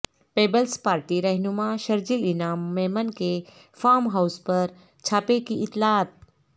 Peoples Party رہنما شرجیل انعام میمن کے farm house پر چھاپے کی اطلاعات